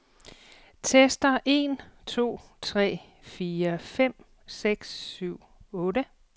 Tester en to tre fire fem seks syv otte.